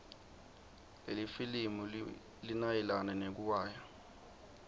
lelifilimu linayelana nekuiwaya